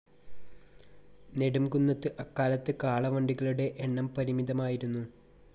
നെടുംകുന്നത്ത്‌ അക്കാലത്ത്‌ കാളവണ്ടികളുടെ എണ്ണം പരിമിതമായിരുന്നു.